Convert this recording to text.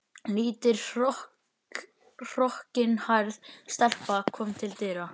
Lítil hrokkinhærð stelpa kom til dyra.